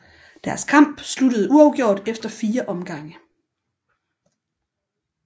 Deres kamp sluttede uafgjort efter fire omgange